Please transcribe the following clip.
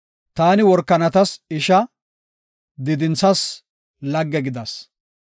Taani worakanatas isha, diidinthas lagge gidas.